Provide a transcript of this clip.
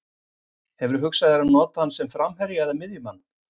Hefurðu hugsað þér að nota hann sem framherja eða miðjumann?